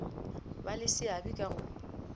ba le seabe ka go